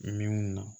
Min na